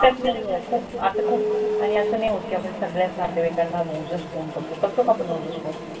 नई आणि खूप असं खूप आणि असं नई होत कि आपण सगळ्या च नेतेवाइकांना रोज च phone करतो करतो का आपण रोज phone